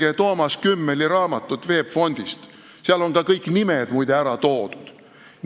Lugege Toomas Kümmeli raamatut VEB Fondist – seal on ka kõik nimed muide ära toodud!